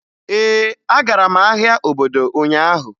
Ee, agara m ahịa obodo ụnyaahụ.